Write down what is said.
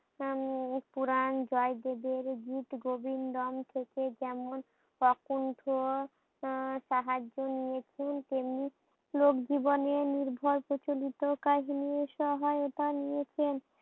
উম পুরান জয় দেবের গিতগোবিন্দ থেকে যেমন কোকুন্ঠ তাহার জন্য খুন প্রেমিক লোক জীবনে নির্ভর প্রচলিত কাহিনীই সহায়তা নিয়েছেন।